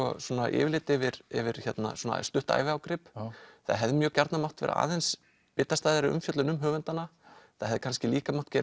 yfirlit yfir yfir svona stutt æviágrip það hefði mjög gjarnan mátt vera aðeins bitastæðari umfjöllun um höfundana það hefði kannski líka mátt gera